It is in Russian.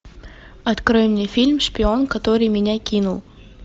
открой мне фильм шпион который меня кинул